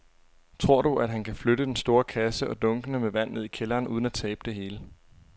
Tror du, at han kan flytte den store kasse og dunkene med vand ned i kælderen uden at tabe det hele?